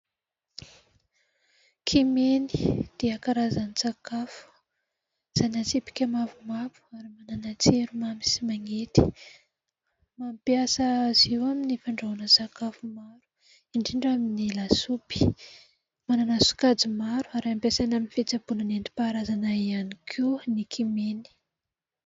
Kimeny dia karazan-tsakafo zana-tsipika mavomavo ary manana tsiro mamy sy mangidy. Mampiasa azy io amin'ny fandrahona sakafo maro indrindra amin'ny lasopy. Manana sokajy maro ary ampiasaina amin'ny fitsaboana nentim-paharazana ihany koa ny kimeny.